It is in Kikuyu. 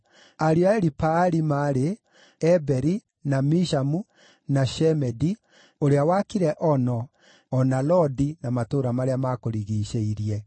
Ariũ a Elipaali maarĩ: Eberi, na Mishamu, na Shemedi (ũrĩa wakire Ono, o na Lodi na matũũra marĩa maakũrigiicĩirie),